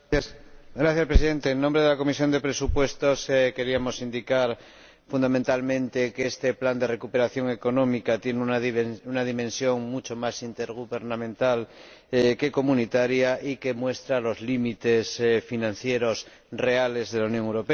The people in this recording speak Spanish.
Señor Presidente, en nombre de la Comisión de Presupuestos queríamos indicar fundamentalmente que este plan de recuperación económica tiene una dimensión mucho más intergubernamental que comunitaria y que muestra los límites financieros reales de la Unión Europea.